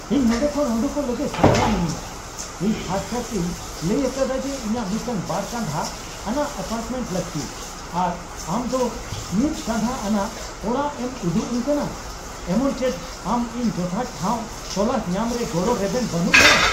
ᱤᱧ ᱱᱚᱸᱰᱮ ᱠᱷᱚᱱ ᱩᱰᱩᱠᱚᱜ ᱞᱟᱹᱜᱤᱫ ᱥᱟᱯᱲᱟᱣ ᱢᱤᱱᱟᱹᱧᱟ ᱾ᱤᱧ ᱠᱷᱟᱥᱠᱟᱨ ᱛᱤᱧ ᱞᱟᱹᱭ ᱟᱠᱟᱫᱟ ᱡᱮ ᱤᱧᱟᱹᱜ ᱢᱤᱫᱴᱟᱝ ᱵᱟᱨ ᱠᱟᱸᱫᱷᱟ ᱟᱱᱟᱜ ᱮᱹᱯᱟᱴᱨᱢᱮᱱᱴ ᱞᱟᱹᱠᱛᱤ ᱾ᱟᱨ ᱟᱢᱫᱚ ᱢᱤᱫ ᱠᱟᱸᱫᱷᱟ ᱟᱱᱟᱜ ᱚᱲᱟᱜ ᱮᱢ ᱩᱫᱩᱜᱼᱟᱹᱧ ᱠᱟᱱᱟ ᱾ᱮᱢᱚᱱ ᱪᱮᱫ ᱟᱢ ᱤᱧ ᱡᱚᱛᱷᱟᱛ ᱴᱷᱟᱶ ᱛᱚᱞᱟᱥ ᱧᱟᱢ ᱨᱮ ᱜᱚᱲᱚ ᱨᱮᱵᱮᱱ ᱵᱟᱹᱱᱩᱜ ᱢᱮᱭᱟ ᱾